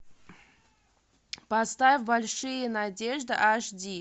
поставь большие надежды аш ди